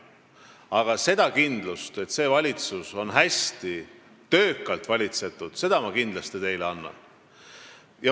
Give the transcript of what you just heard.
Aga selle kindluse, et valitsus valitseb hästi ja töökalt, ma teile annan.